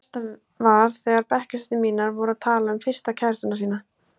Það versta var þegar bekkjarsystur mínar voru að tala um fyrstu kærastana sína.